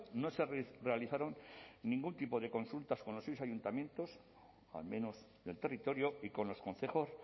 no se realizaron ningún tipo de consultas con los ayuntamientos al menos del territorio y con los concejos